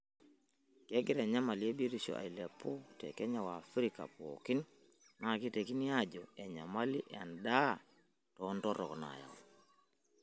Kegira enyamali e biotisho ailepu te Kenya o Afrika pookin naa keitekini aajo enyamali endaa totronok nayau.